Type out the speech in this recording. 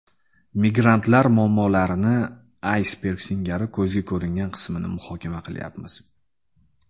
Migrantlar muammolarini aysberg singari ko‘zga ko‘ringan qismini muhokama qilayapmiz.